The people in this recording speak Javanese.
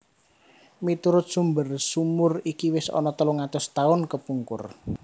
Miturut sumber sumur iki wis ana telung atus tahun kepungkur